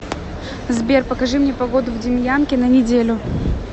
сбер покажи мне погоду в демьянке на неделю